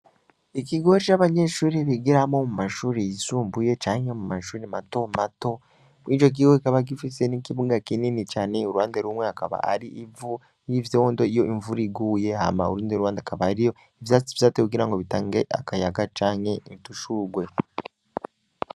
Ikigo c'abanyeshuri bigiramwo mumashuri yisumbuye canke mumashuri mato mato, mw'ico kigo kikaba gifise n'ikibuga kinini cane, uruhande rumwe akaba ari ivu, n'ivyondo iyo imvura iguye ,Hama urundi ruhande hakaba hariyo ivyatsi vyatewe kugira ngo bitange akayaga canke udushurwe.